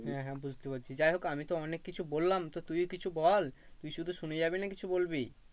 হ্যাঁ হ্যাঁ বুঝতে পেরেছি। যাই হোক আমি তো অনেক কিছু বললাম তো তুই কিছু বল তুই শুধু শুনে যাবি না কিছু বলবি?